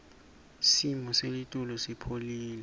simo selitulu sipholile